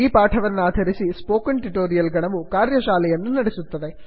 ಈ ಪಾಠವನ್ನಾಧಾರಿಸಿ spoken tutorial ಗಣವು ಕಾರ್ಯಶಾಲೆಯನ್ನು ನಡೆಸುತ್ತದೆ